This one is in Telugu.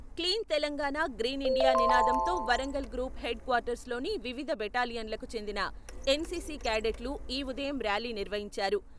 క్లీన్ తెలంగాణ గ్రీన్ ఇండియా నినాదంతో వరంగల్ గ్రూప్ హెడ్ క్వార్టర్స్లోని వివిధ బెటాలియన్లకు చెందిన ఎన్సిసి క్యాడెట్లు ఈ ఉదయం ర్యాలీ నిర్వహించారు.